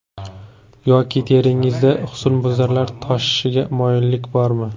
Yoki teringizda husnbuzarlar toshishiga moyillik bormi?